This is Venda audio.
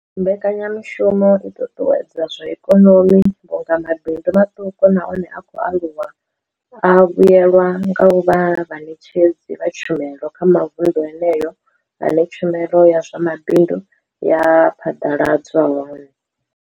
Mbekanya mushumo i ṱuṱuwedza zwa ikonomi vhunga mabindu maṱuku na one a khou aluwa a vhuelwa nga u vha vhaṋetshedzi vha tshumelo kha mavundu eneyo ane tshumelo ya zwa mabindu ya phaḓaladzwa hone.